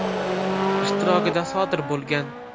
ishtirokida sodir bo‘lgan.